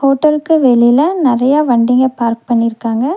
ஹோட்டலுக்கு வெளில நெறைய வண்டிங்க பார்க் பண்ணிருக்காங்க.